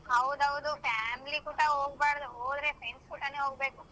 ಹೌದ್ ಹೌದು family ಕೂಟ ಹೋಗ್ಬಾರ್ದು ಹೋದ್ರೆ friends ಕೂಟನೆ ಹೋಗ್ಬೇಕು.